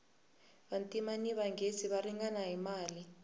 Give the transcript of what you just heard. vantima ni manghezi va ringana hi mali